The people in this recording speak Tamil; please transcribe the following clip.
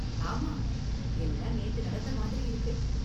ஆமா, எல்லாம் நேத்து நடந்த மாதிரி இருக்கு.